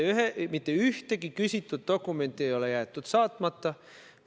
Mitte ühtegi küsitud dokumenti ei ole jäetud saatmata.